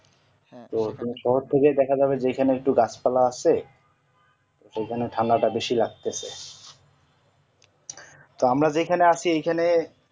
শহর থেকেই দেখা যাবে যেখানে একটু গাছ পালা আছে সেখানে ঠান্ডাটা বেশি লাগতেছে আমরা যেখানে আছি এই খানে